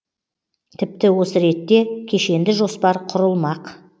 тіпті осы ретте кешенді жоспар құрылмақ